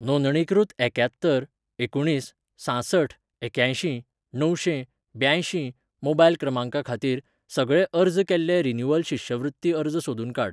नोंदणीकृत एक्यात्तर एकुणीस सांसठ एक्यांयशीं णवशें ब्यांयशीं मोबायल क्रमांका खातीर, सगळे अर्ज केल्ले रिन्यूवल शिश्यवृत्ती अर्ज सोदून काड.